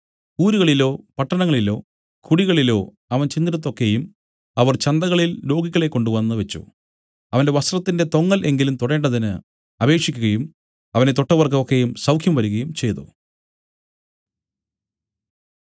ഊരുകളിലോ പട്ടണങ്ങളിലോ കുടികളിലോ അവൻ ചെന്നിടത്തൊക്കെയും അവർ ചന്തകളിൽ രോഗികളെ കൊണ്ടുവന്നു വെച്ച് അവന്റെ വസ്ത്രത്തിന്റെ തൊങ്ങൽ എങ്കിലും തൊടേണ്ടതിന് അപേക്ഷിക്കുകയും അവനെ തൊട്ടവർക്ക് ഒക്കെയും സൌഖ്യം വരികയും ചെയ്തു